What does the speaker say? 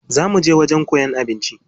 Za muje wajen koyan abinci.